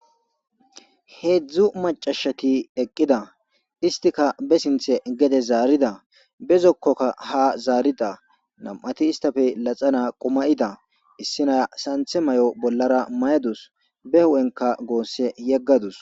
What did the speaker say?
heezzu maca asati eqqida istika be sintte geede zaarida be zokkokka ha zaarida nam'ati istappe laxana qomayida. issi naya santte may'o bollara mayadusu be hu'enka goosse yegadusu.